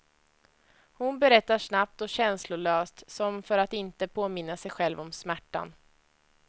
Hon berättar snabbt och känslolöst, som för att inte påminna sig själv om smärtan.